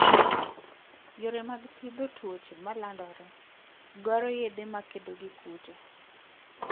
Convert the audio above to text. Yore mag thiedho tuoche ma landore, dwaro yedhe makedo gi kute.